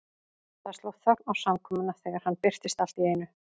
Það sló þögn á samkomuna þegar hann birtist allt í einu.